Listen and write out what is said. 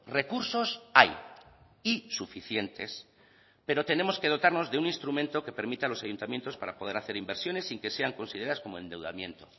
recursos hay y suficientes pero tenemos que dotarnos de un instrumento que permita a los ayuntamientos para poder hacer inversiones sin que sean consideradas como endeudamiento